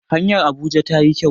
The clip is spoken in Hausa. hanyar Abuja ta yi kyau